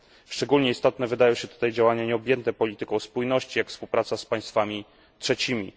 Szczególnie istotne wydają się tutaj działania nieobjęte polityką spójności, jak współpraca z państwami trzecimi.